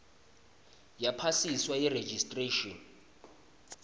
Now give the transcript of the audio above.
yaphasiswa yi registration